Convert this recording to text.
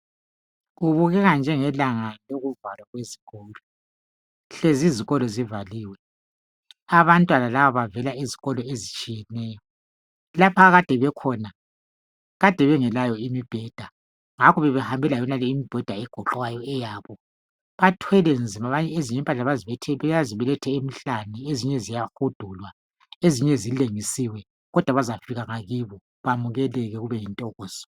kubukeka njengelanga lokuvalwa kwezikolo hlezi izikolo zivaliwe abantwana laba bavela ezikolo ezitshiyeneyo lapho ade bekhona bebengelayo imibheda ngakho bebehambe layonale imibheda egoqwayo bathwele nzima ezinye impahla bazibelethe emhlane ezinye ziyahudulwa ezinye zilengisiwe kodwa bazafika ngakibo bamukeleke kube yintokozo